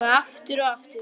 Og aftur og aftur.